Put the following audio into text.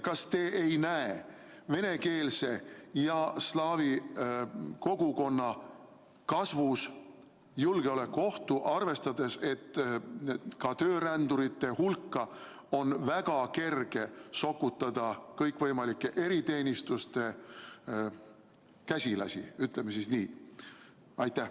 Kas te ei näe venekeelse, slaavi kogukonna kasvus julgeolekuohtu, arvestades, et töörändurite hulka on väga kerge sokutada kõikvõimalikke eriteenistuste käsilasi, ütleme nii?